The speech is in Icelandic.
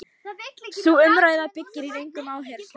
Sú umræða byggir á röngum áherslum.